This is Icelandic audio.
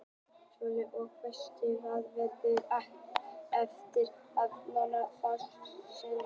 Sölvi: Og veistu hvað verður eftir af Norðurljósum þá eftir þessi kaup?